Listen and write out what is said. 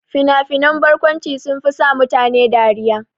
Fina-finan barkwanci sunfi sa mutane dariya.